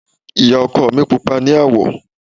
Ìyá ọkọ mi pupa ní àwọ̀.